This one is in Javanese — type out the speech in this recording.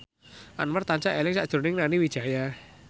Anwar tansah eling sakjroning Nani Wijaya